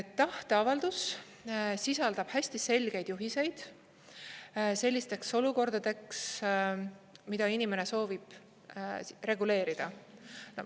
Tahteavaldus sisaldab hästi selgeid juhiseid sellisteks olukordadeks, mida inimene soovib reguleerida.